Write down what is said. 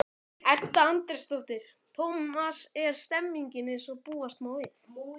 Edda Andrésdóttir: Tómas, er stemningin eins og búast má við?